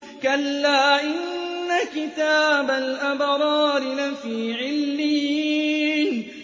كَلَّا إِنَّ كِتَابَ الْأَبْرَارِ لَفِي عِلِّيِّينَ